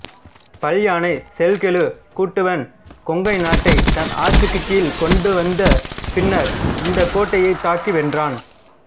பல்யானைச் செல்கெழு குட்டுவன் கொங்குநாட்டை தன் ஆட்சிக்குக் கீழ்க் கொண்டுவந்த பின்னர் இந்தக் கோட்டையைத் தாக்கி வென்றான்